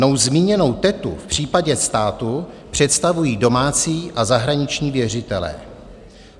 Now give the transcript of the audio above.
Mnou zmíněnou tetu v případě státu představují domácí a zahraniční věřitelé.